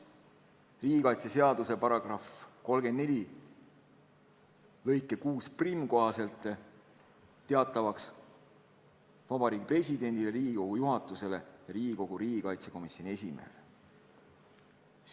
Riigikaitseseaduse § 34 lõike 61 kohaselt tehakse see teatavaks Vabariigi Presidendile, Riigikogu juhatusele ja Riigikogu riigikaitsekomisjoni esimehele.